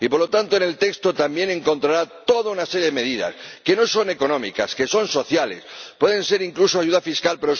Y, por lo tanto, en el texto también encontrarán toda una serie de medidas que no son económicas, que son sociales. Pueden ser incluso ayudas fiscales